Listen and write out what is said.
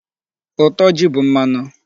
Ụtọ ji bụ mmanụ.